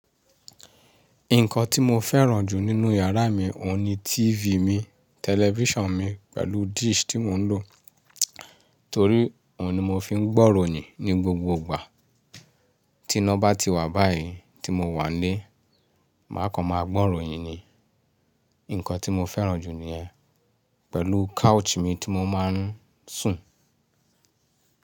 Nǹkan tí mo fẹ́ràn jù nínú yàrá mi òun ni TV mi, television mi pẹ̀lú dish tí mò ń lò. Torí òun ni mò fi ń gbọ́ ìròyìn ní gbogbo ìgbà. Tiná bá ti wà báyìí tí mo wà nílé, máa kan máa gbọ́ ìròyìn ni. Nǹkan tí mo fẹ́ràn jù niyẹ́n pẹ̀lú couch mi tí mo máa ń sùn.